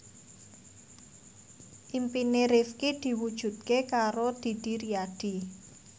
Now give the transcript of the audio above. impine Rifqi diwujudke karo Didi Riyadi